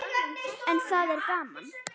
En það er gaman.